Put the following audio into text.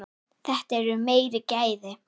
Þetta eru meiri gæði.